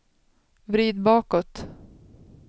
vrid bakåt